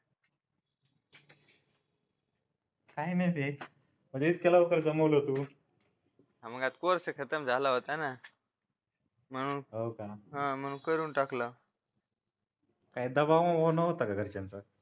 काय नाही जमवलं तू आम्हाला आता कोर्स खतम झाला होता ना म्हणून हो का म्हणून करून टाकला काही दबाव वबाव नव्हता का घरच्यांचा